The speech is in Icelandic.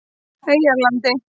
Eyjarlandi